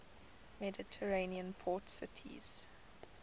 mediterranean port cities